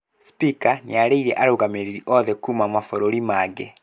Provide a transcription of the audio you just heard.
Spika nĩarĩirie arũgamĩrĩri othe kuma mabũrũri mangĩ